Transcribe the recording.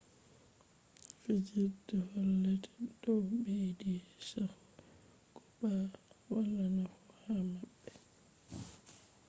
fijirme hollete dow beyidi chaahu ko to wala nafu ha mabbe